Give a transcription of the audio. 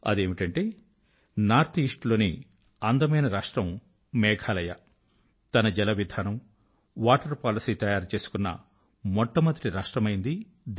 అదేమిటంటే north east లోని అందమైన రాష్ట్రం మేఘాలయ తన జల విధానం వాటర్ పాలసీ తయారు చేసుకొన్న దేశం లోనే మొట్ట మొదటి రాష్ట్రం అయింది